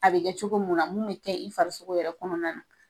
A be kɛ cogo mun na mun be kɛ i farisogo yɛrɛ kɔnɔna na